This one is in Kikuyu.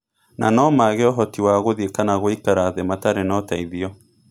Na no maage ũhoti wa gũthiĩ kana gũikara thĩ matarĩ na ũteithio.